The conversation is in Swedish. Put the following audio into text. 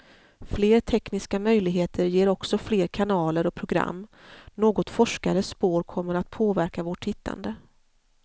Fler tekniska möjligheter ger också fler kanaler och program, något forskare spår kommer att påverka vårt tittande.